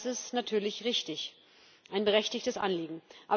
Das ist natürlich richtig ein berechtigtes Anliegen.